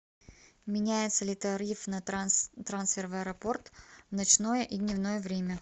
меняется ли тариф на трансфер в аэропорт в ночное и дневное время